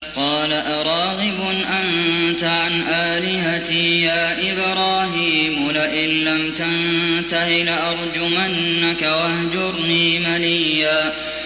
قَالَ أَرَاغِبٌ أَنتَ عَنْ آلِهَتِي يَا إِبْرَاهِيمُ ۖ لَئِن لَّمْ تَنتَهِ لَأَرْجُمَنَّكَ ۖ وَاهْجُرْنِي مَلِيًّا